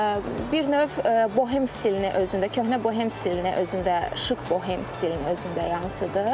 Bir növ Bohem stilini özündə, köhnə Bohem stilini özündə, şıq Bohem stilini özündə yansıdır.